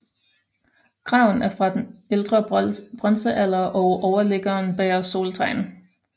Graven er fra ældre bronzealder og overliggeren bærer soltegn